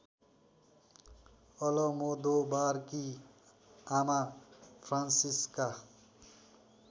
अलमोदोबारकी आमा फ्रान्सिस्का